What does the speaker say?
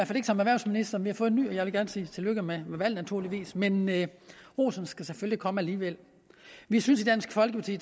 fald ikke som erhvervsminister vi har fået en ny og jeg vil gerne sige tillykke med valget naturligvis men men rosen skal selvfølgelig komme alligevel vi synes i dansk folkeparti